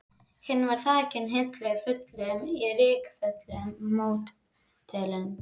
Hinn var þakinn hillum fullum af rykföllnum módelum.